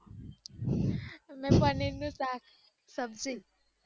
મેં પનીર નું શક સબ્જી